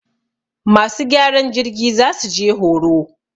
masu gyaran jirgi za su je horo.